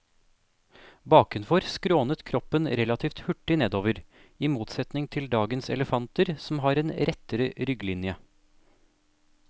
Bakenfor skrånet kroppen relativt hurtig nedover, i motsetning til dagens elefanter som har en rettere rygglinje.